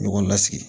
Ɲɔgɔn lasigi